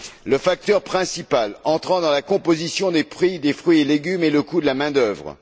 Le facteur principal entrant dans la composition des prix des fruits et légumes est le coût de la main d'œuvre.